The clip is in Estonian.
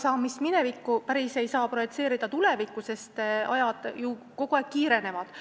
Ega minevikku ei saa päriselt tulevikku projitseerida, sest muutused ju kogu aeg kiirenevad.